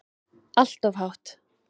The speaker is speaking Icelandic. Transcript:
Allt of hátt.